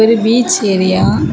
இது beach area .